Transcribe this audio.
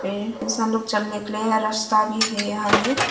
पेड़ इंसान लोग चलने के लिए रस्ता भी हैं यहां में।